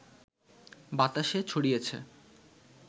বাতাসে ছড়িয়েছে।